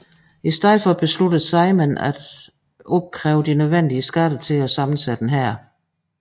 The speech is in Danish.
I stedet besluttede Sejmen at opkræve de nødvendige skatter til at sammensætte en hær